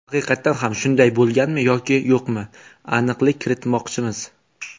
Haqiqatan ham shunday bo‘lganmi yoki yo‘qmi, aniqlik kiritmoqchimiz.